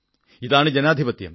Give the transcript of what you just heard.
ഇതാണ് ജനാധിപത്യം